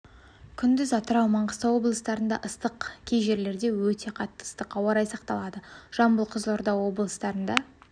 күндіз атырау маңғыстау облыстарында ыстық кей жерлерде өте қатты ыстық ауа райы сақталады жамбыл кызылорда облыстырынд